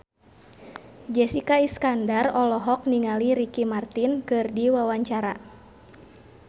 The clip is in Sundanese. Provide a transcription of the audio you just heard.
Jessica Iskandar olohok ningali Ricky Martin keur diwawancara